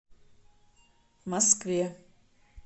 москве